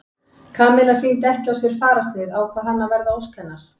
Kamilla sýndi ekki á sér fararsnið ákvað hann að verða að ósk hennar.